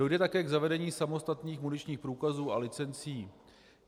Dojde také k zavedení samostatných muničních průkazů a licencí.